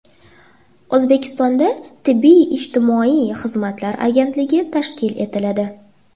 O‘zbekistonda Tibbiy-ijtimoiy xizmatlar agentligi tashkil etiladi.